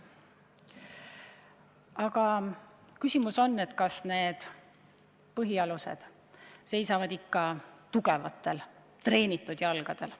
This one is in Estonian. Aga küsimus on, kas need põhialused seisavad ikka tugevatel treenitud jalgadel.